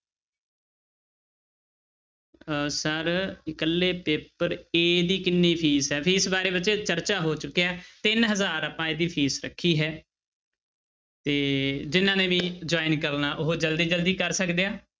ਅਹ sir ਇਕੱਲੇ paper a ਦੀ ਕਿੰਨੀ ਫੀਸ ਹੈ ਫੀਸ ਬਾਰੇ ਬੱਚੇ ਚਰਚਾ ਹੋ ਚੁਕੀ ਹੈ ਤਿੰਨ ਹਜ਼ਾਰ ਆਪਾਂ ਇਹਦੀ ਫ਼ੀਸ ਰੱਖੀ ਹੈ ਤੇ ਜਿਹਨਾਂ ਨੇ ਵੀ join ਕਰਨਾ ਉਹ ਜ਼ਲਦੀ ਜ਼ਲਦੀ ਕਰ ਸਕਦੇ ਆ।